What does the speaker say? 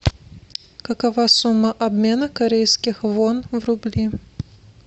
какова сумма обмена корейских вон в рубли